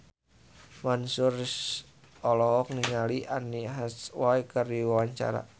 Mansyur S olohok ningali Anne Hathaway keur diwawancara